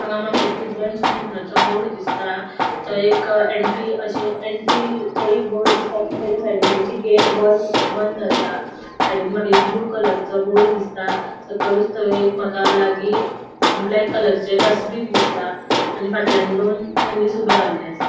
हांगा माका एक बोर्ड दिसता थंय एक एंट्री अशे एंट्री थंय एक बोर्ड दिसता तो बायला साइडीन तेंचि गेट बंद आसा साइडीन माका एक ब्लू कलर चो बोर्ड दिसता सकलुच थंय एक माका लागी ब्लॅक कलर चे डस्ट्बिन दिसता आणि फाटल्यान दोन मनिस ऊबे रावल्ले आसा.